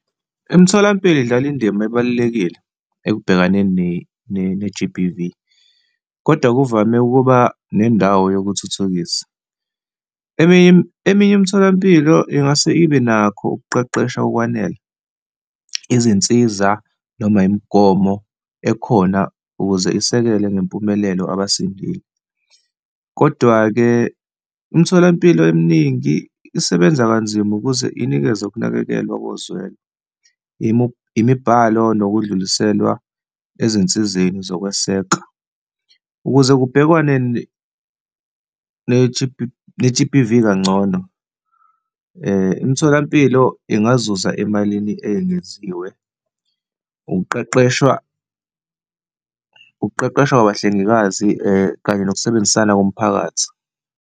Imitholampilo idlala indima ebalulekile ekubhekaneni ne-G_B_V, kodwa kuvame ukuba nendawo yokuthuthukisa. Eminye, eminye imitholampilo ingase ibe nakho ukuqeqeshwa okwanele, izinsiza noma imigomo ekhona ukuze isekele ngempumelelo abasindile. Kodwa-ke, imtholampilo eminingi isebenza kanzima ukuze inikeze ukunakekelwa ngokozwelo, imibhalo, ngokudluliselwa ezinsizeni zokweseka. Ukuze kubhekwane ne-G_B_V kangcono, imitholampilo ingazuza emalini eyengeziwe, ukuqeqeshwa, ukuqeqeshwa kwabahlengikazi kanye nokusebenzisana komphakathi.